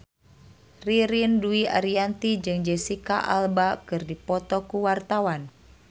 Ririn Dwi Ariyanti jeung Jesicca Alba keur dipoto ku wartawan